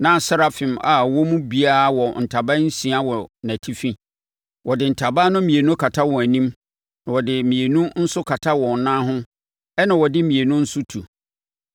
Na serafim a wɔn mu biara wɔ ntaban nsia wɔ nʼAtifi. Wɔde ntaban no mmienu kata wɔn anim, na wɔde mmienu nso kata wɔn nan ho ɛnna wɔde mmienu nso tu.